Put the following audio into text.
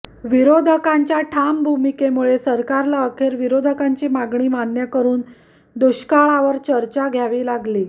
विरोधकांच्या ठाम भूमिकेमुळे सरकारला अखेर विरोधकांची मागणी मान्य करुन दुष्काळावर चर्चा घ्यावी लागली